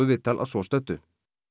viðtal að svo stöddu